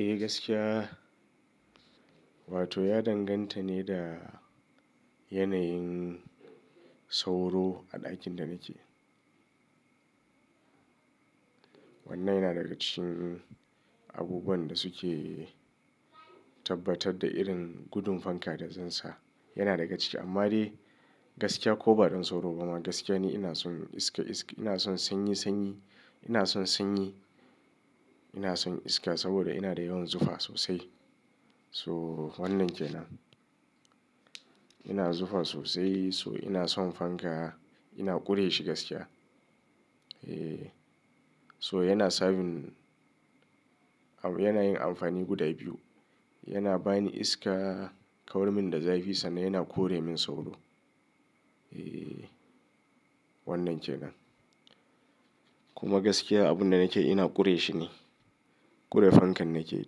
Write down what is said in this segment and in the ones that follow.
Eh gaskiya, wato ya danganta ne da yanayin sauro a ɗakin da nake. Wannan yana daga cikin abubuwan da suke tabbatar da irin gudun fanka da zan sa. Yana daga ciki amma dai, gaskiya ko ba don sauro ba ma gaskiya ne ina son iska iska, ina son sanyi sanyi, ina son sanyi, ina son iska saboda ina da yawan zufa sosai. So wannan kenan. Ina zufa sosai so ina son fanka, ina ƙure shi gaskiya. Eh, so yana serving, yana yin amfani guda biyu. Yana bani iska, kawar min da zafi sannan yana kore min sauro. Eh wannan kenan. Kuma gaskiya abun da nake ina ƙure shi ne. Ƙure fankan nake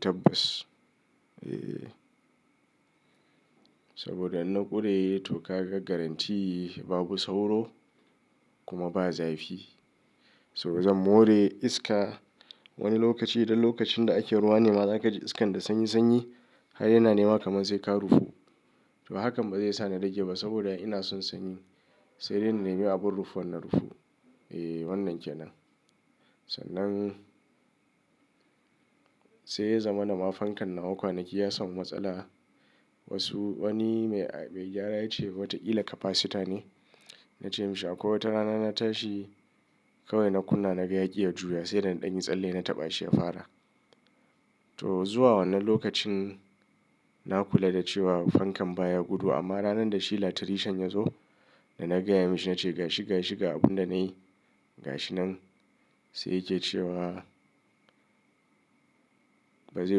tabbas. Eh. Saboda in na ƙure to kaga garanti babu sauro, kuma ba zafi. So zan more iska, wani lokaci idan lokacin da ake ruwa ne ma za ka ji iskan da sanyi sanyi har yana nema kamar sai ka rufu. To hakan ba zai sa na rage ba saboda ina son sanyi sai dai na nemi abun rufuwa na rufu. Eh wannan kenan. Sannan sai ya zama na ma fankan nawa kwanaki ya samu matsala. Wasu wani mai, mai gyara ya ce wata kila capacitor ne. Na ce mashi akwai wata rana na tashi, kawai na kunna naga yaki ya juya sai da na ɗanyi tsalle na taɓa shi ya fara. To zuwa wannan lokacin, na kula da cewa fankan baya gudu amma ranar da shi latrishan ya zo da na gaya mashi na ce gashi gashi ga abun da na yi, ga shi nan sai yake cewa ba zai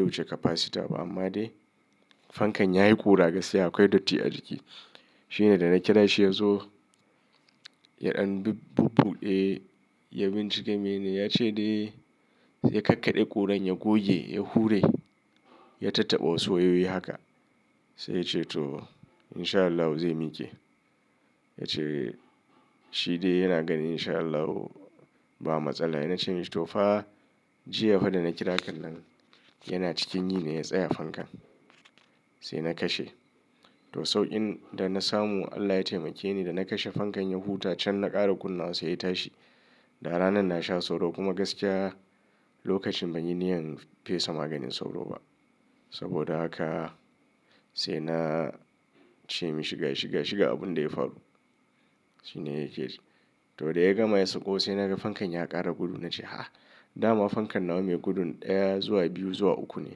wuce capacitor ba amma dai fankan yayi ƙura gaskiya akwai datti a ciki. Shi ne da na kira shi ya zo, ya ɗan bubbuɗe ya bincika mene ya ce dai, sai ya kakkaɗe ƙuran ya goge ya hure ya tattaba wasu wayoyi haka. Sai ya ce to in sha Allah zai miƙe Ya ce, shi dai yana ganin in sha Allahu ba matsala. Na ce mashi to fa jiya fa da na kira kan nan yana cikin yi ne ya tsaya fankan. Sai na kashe. To sauƙin da na samu Allah ya taimake ni da na kashe fankan ya huta can na ƙara kunna wa sai ya tashi. Da ranan na sha sauro kuma gaskiya lokacin ban yi niyyar fesa maganin sauro ba. Saboda haka, sai na ce mashi gashi gashi ga abun da ya faru. Shi ne yake ji. To da ya gama ya sauko sai na ga fankan ya ƙara gudu. Na ce ha'a! Dama fankan nawa mai gudun ɗaya, zuwa biyu, zuwa uku ne.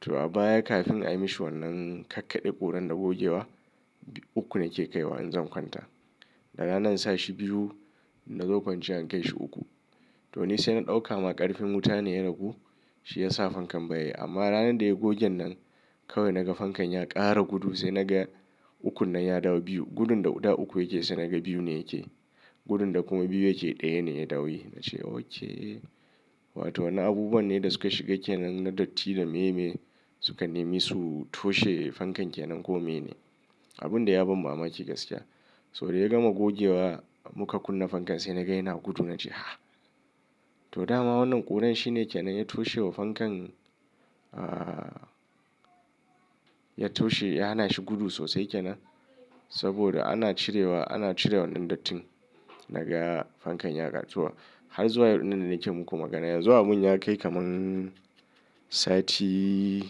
To a baya kafin a yi mishi wannan kakkaɗe ƙuran da gogewa uku nake kai wa in zan kwanta. Da rana in sa shi biyu, in na zo kwanciya in kai shi uku. To nisai na ɗauka ma ƙarfin wuta ne ragu ku shi yasa fankan ba yi. Amma ranar da ya gogen nan, kawai na ga fankan ya ƙara gudu. Sai na ga ukun nan ya dawo biyu. Gudun da ɗa uku yake sai na ga biyu ne yake. Gudun da kuma biyu yake ɗaya ne ya dawo yi. Na ce okay! Wato wannan abubuwan ne da suka shiga kenan na datti da me me suka nemi su toshe fankan kenan komai ne. Abun dai ya ban mamaki gaskiya. So da ya gama gogewa muka kunna fankan sai na ga yana gudu na ce ha'a! To dama wannan ƙuran shi ne kenan ya toshe wa fankan, ah, ya toshe ya hana shi gudu sosai kenan. Saboda ana cirewa, ana cire wannan dattin na ga fankan ya ƙaru zuwa har zuwa wannan da nake muku magana. Yanzu abun ya kai kaman sati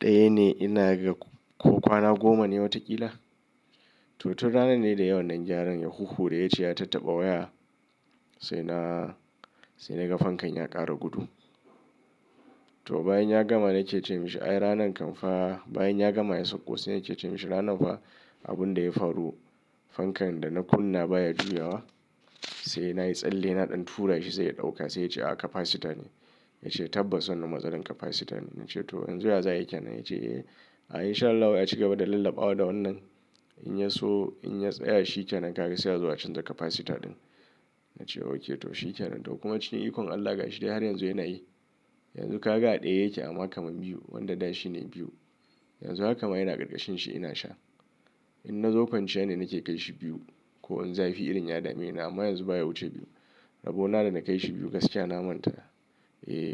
ɗaya ne ina ga ko kwana goma ne wataƙila. To, tun ranan ne da yayi wannan gyaran ya huhure yace ya tattaba waya sai na, sai na ga fankan ya ƙara gudu. To bayan ya gama na ke ce mashi ai ranan kam fa bayan ya gama ya sauko sai yake ce mashi ranan fa abun da ya faru fankan da na kunna baya juyawa sai na yi tsalle na ɗan tura shi sai ya ɗauka sai ya ce ah capacitor ne. Ya ce tabbas wannan matsalar capacitor ne. Na ce to yanzu ya za ai kenan? Ya ce eh in sha Allahu acigaba da lallabawa da wannan in ya so in ya tsaya shi kenan ka ga sai a zo a canja capacitor ɗin. Na ce okay to shi kenan. To kuma cikin ikon Allah gashi dai har yanzu yana yi. Yanzu ka ga ɗaya yake amma kaman biyu wanda ɗashi ne biyu. Yanzu haka ma ina ƙarƙashin shi ina sha. In na zo kwanciya ne na ke kai shi biyu ko in zafi irin ya dame ni amma yanzu baya wuce biyu. Rabona da na kai shi biyu gaskiya na manta. Eh.